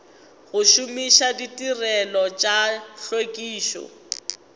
go šomiša ditirelo tša tlhwekišo